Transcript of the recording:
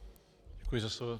Děkuji za slovo.